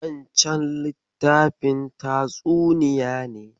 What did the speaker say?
Wancen littafin tatsuniya ne?